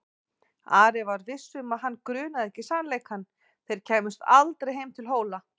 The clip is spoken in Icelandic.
Ari var viss um að hann grunaði ekki sannleikann: þeir kæmust aldrei heim til Hóla.